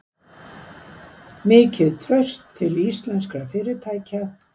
Mikið traust til íslenskra fyrirtækja